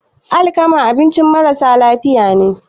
alkama abincin marasa lafiya ne